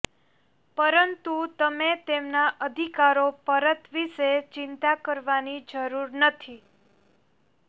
પરંતુ તમે તેમના અધિકારો પરત વિશે ચિંતા કરવાની જરૂર નથી